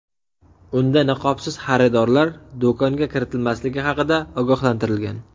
Unda niqobsiz xaridorlar do‘konga kiritilmasligi haqida ogohlantirilgan.